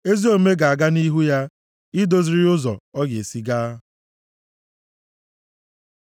Ezi omume ga-aga nʼihu ya, idoziri ya ụzọ ọ ga-esi gaa.